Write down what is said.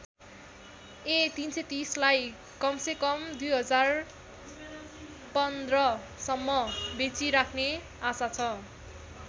ए३३०लाई कम से कम २०१५ सम्म बेचिराख्ने आशा छ।